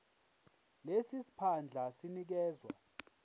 lesi siphandla sinikezwa